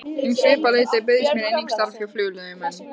Um svipað leyti bauðst mér einnig starf hjá Flugleiðum en